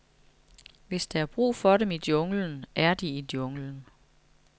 Hvis der er brug for dem i junglen, er de i junglen.